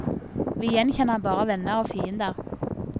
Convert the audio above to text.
Vi gjenkjenner bare venner og fiender.